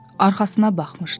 Arxasına baxmışdı.